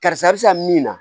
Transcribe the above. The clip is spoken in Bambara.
Karisa bɛ sa min na